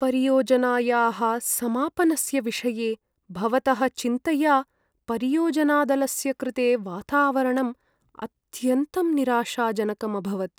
परियोजनायाः समापनस्य विषये भवतः चिन्तया परियोजनादलस्य कृते वातावरणम् अत्यन्तं निराशाजनकम् अभवत्।